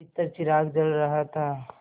भीतर चिराग जल रहा था